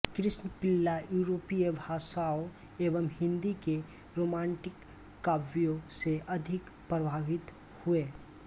कृष्णपिल्ला यूरोपीय भाषाओं एवं हिंदी के रोमांटिक काव्यों से अधिक प्रभावित हुए